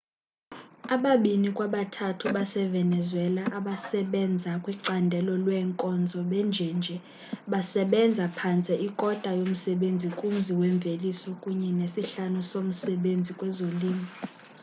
ababini kwabathathu basevenezuela abasebenza kwicandelo leenkonzo benjenje basebenza phantse ikota yomsebenzi kumzi mveliso kunye nesihlanu somsebenzi kwezolimo